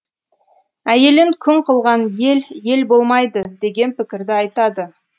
әйелін күң қылған ел ел болмайды деген пікірді айтады